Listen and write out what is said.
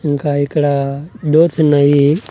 ఇంకా ఇక్కడ డోర్స్ ఉన్నాయి.